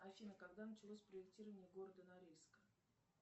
афина когда началось проектирование города норильска